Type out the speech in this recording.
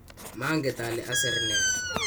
manget ale aser ne